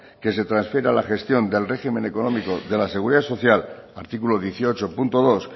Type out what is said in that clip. que se transfiera la gestión del régimen económico de la seguridad social artículo dieciocho punto dos